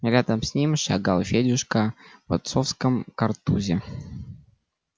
рядом с ним шагал федюшка в отцовском картузе